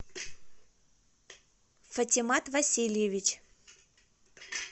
фатимат васильевич